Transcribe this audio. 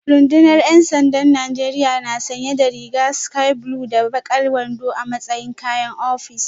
Rundunar ‘yan sandan Najeriya na sanye da rigar sky blue da bakar wando a matsayin kayan ofis